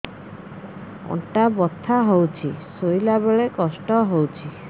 ଅଣ୍ଟା ବଥା ହଉଛି ଶୋଇଲା ବେଳେ କଷ୍ଟ ହଉଛି